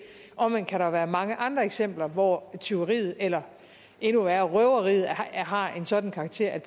omvendt kan der jo være mange andre eksempler hvor tyveriet eller endnu værre røveriet har en sådan karakter at